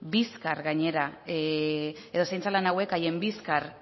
zaintza lan hauek haien bizkar